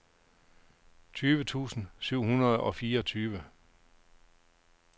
tyve tusind syv hundrede og fireogtyve